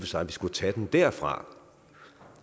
sig at vi skulle tage den derfra